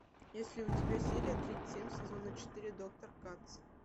есть ли у тебя серия тридцать семь сезона четыре доктор кац